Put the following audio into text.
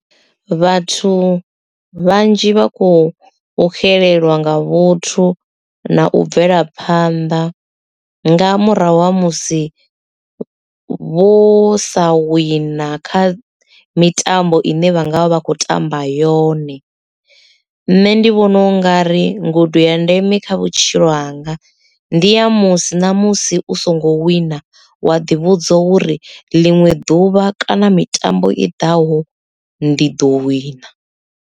Vhathu vhanzhi vha khou xelelwa nga vhuthu na u bvelaphanḓa nga murahu ha musi vho sa wina kha mitambo ine vha nga vha vha kho tamba yone nṋe ndi vhona u nga ri ngudo ya ndeme kha vhutshilo hanga ndi ya musi ṋamusi u songo wina wa ḓi vhudza uri ḽiṅwe ḓuvha kana mitambo i ḓaho ndi ḓo wina.